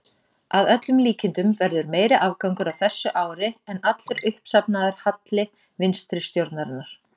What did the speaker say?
Að öllum líkindum verður meiri afgangur á þessu ári en allur uppsafnaður halli vinstri stjórnarinnar.